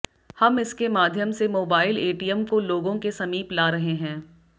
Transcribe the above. हम इसके माध्यम से मोबाइल एटीएम को लोगों के समीप ला रहे हैं